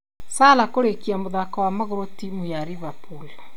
Salah kũrĩkia mũthako wa magũrũ timu ya Liverpool